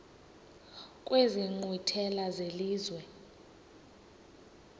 kwezi nkqwithela zelizwe